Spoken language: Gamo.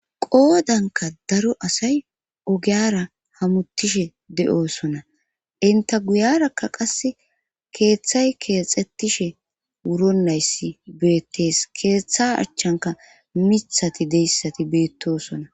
Qoodanka daro asay ogiyara hamuttishe de'oosona inta guyarakka qass keeththay keexettishe wuronayssi beettees keeththa achchanka mithati deyssati beettoosona.